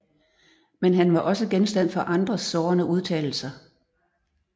Men han var også genstand for andres sårende udtalelser